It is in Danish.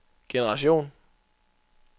generation